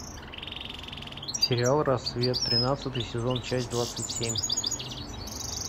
сериал рассвет тринадцатый сезон часть двадцать семь